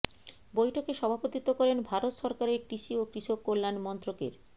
বৈঠকে সভাপতিত্ব করেন ভারত সরকারের কৃষি ও কৃষক কল্যাণ মন্ত্রকের